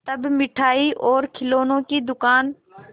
तब मिठाई और खिलौने की दुकान